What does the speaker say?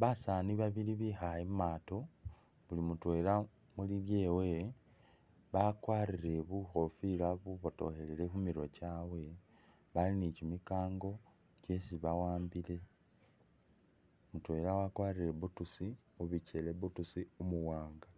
basani babili bikhaye mumato buli mutwela mulyewe bakwarire bukofila bubotokhelefu khu'mirwe chabwe bali nichimikango chesi ba'ambile mutwela wakwarile boots mubichele, boots umuwanga